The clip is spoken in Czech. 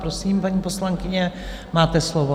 Prosím, paní poslankyně, máte slovo.